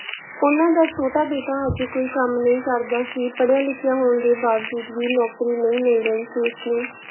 ਉਹਨਾਂ ਦਾ ਛੋਟਾ ਬੇਟਾ ਹਜੇ ਕੋਈ ਕੰਮ ਨਹੀਂ ਕਰਦਾ ਸੀ, ਪੜ੍ਹਿਆ ਲਿਖਿਆ ਹੋਣ ਦੇ ਬਾਵਜੂਦ ਵੀ ਨੌਕਰੀ ਨਹੀਂ ਮਿਲ ਰਹੀ ਸੀ ਉਸਨੂੰ।